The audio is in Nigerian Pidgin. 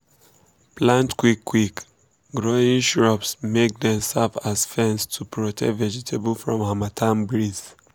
plant quick quick growing shrubs make dem serve as fence to protect vegetable from harmattan breeze.